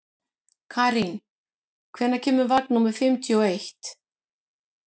Karín, hvenær kemur vagn númer fimmtíu og eitt?